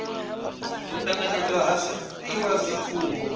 u ṱanganedzwa ha zwifhiwa zwifhio